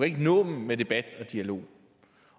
ikke nå dem med debat og dialog